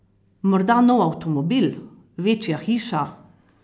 Morda nov avtomobil, večja hiša?